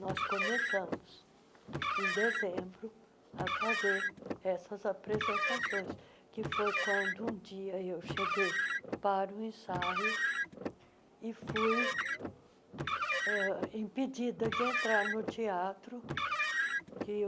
Nós começamos, em dezembro, a fazer essas apresentações, que foi quando, um dia, eu cheguei para o ensaio e fui ãh impedida de entrar no teatro. que